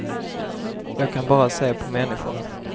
Jag kan bara se på människorna.